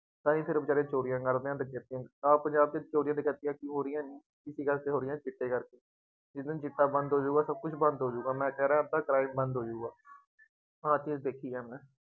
ਤਾਂ ਹੀ ਫੇਰ ਉਹ ਬੇਚਾਰੇ ਸਟੋਰੀਆਂ ਕੱਢਦੇ ਹੈ, ਆਹ ਪੰਜਾਬ ਚ ਸਟੋਰੀਆਂ ਦੇ ਕਰਕੇ ਕੀ ਹੋ ਰਹੀਆ ਨੇ, ਕਿਸ ਕਰਕੇ ਹੋ ਰਹੀਆਂ, ਚਿੱਟੇ ਕਰਕੇ, ਜਿਸ ਦਿਨ ਚਿੱਟਾ ਬੰਦ ਹੋ ਜਾਊਗਾ, ਸਭ ਕੁੱਝ ਬੰਦ ਹੋ ਜਾਊਗਾ, ਮੈਂ ਕਹਿ ਰਿਹਾਂ ਅੱਧਾ crime ਬੰਦ ਹੋ ਜਾਊਗਾ, ਆਹ ਚੀਜ਼ ਦੇਖੀ ਹੈ ਮੈਂ,